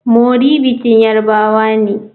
Mori bikin yarbawa ne.